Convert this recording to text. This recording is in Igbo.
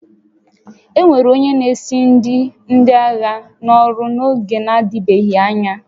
E were onye na-esi nri ndị agha n'ọrụ n'oge na-adịbeghị anya